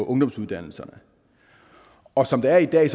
ungdomsuddannelserne og som det er i dag er